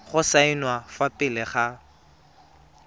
go saenwa fa pele ga